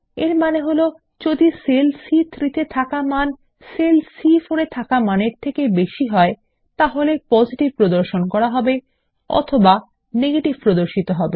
এর মানে হল যদি সেল সি3 -তে থাকা মান সেল সি4 -এর থাকা মানের থেকে অনেক বেশী হয় তাহলে পজিটিভ প্রদর্শন করা হবে অথবা নেগেটিভ প্রদর্শন করা হবে